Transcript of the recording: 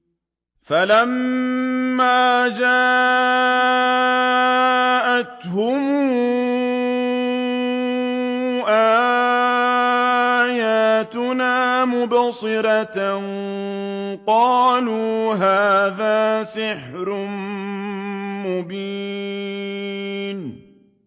فَلَمَّا جَاءَتْهُمْ آيَاتُنَا مُبْصِرَةً قَالُوا هَٰذَا سِحْرٌ مُّبِينٌ